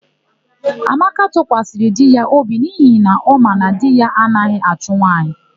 Amaka tụkwasịrị di ya obi n'ihi na ọ ma na di ya anaghị achụ nwaanyị.